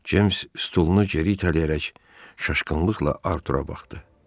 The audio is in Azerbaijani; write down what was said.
Ceyms stolunu geri itələyərək çaşqınlıqla Artura baxdı.